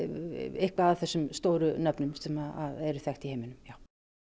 eitthvað af þessum stóru nöfnum sem eru þekkt í heiminum já